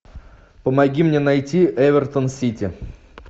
помоги мне найти эвертон сити